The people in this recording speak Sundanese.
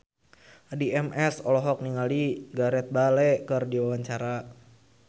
Addie MS olohok ningali Gareth Bale keur diwawancara